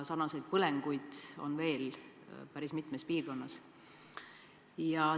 Sarnaseid põlenguid on veel päris mitmes piirkonnas.